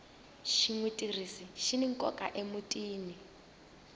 xigwitsirisi xini nkoka emutini